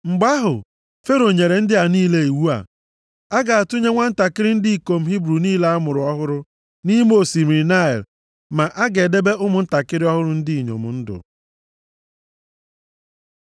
Mgbe ahụ, Fero nyere ndị ya niile iwu a, “A ga-atụnye ụmụntakịrị ndị ikom Hibru niile a mụrụ ọhụrụ nʼime osimiri Naịl, ma a ga-edebe ụmụntakịrị ọhụrụ bụ ndị inyom ndụ.”